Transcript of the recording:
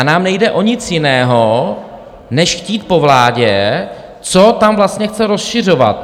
A nám nejde o nic jiného než chtít po vládě, co tam vlastně chce rozšiřovat.